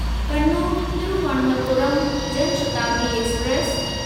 Kannur Thiruvananthapuram Jan Shatabdi express